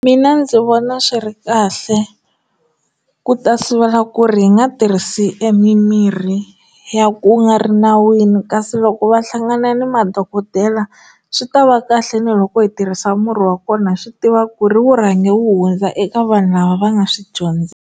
Mina ndzi vona swi ri kahle ku ta sivela ku ri hi nga tirhisi emimirhi ya ku nga ri nawini kasi loko va hlangana ni madokodela swi ta va kahle ni loko hi tirhisa murhi wa kona swi tiva ku ri wu rhange wu hundza eka vanhu lava va nga swi dyondzela.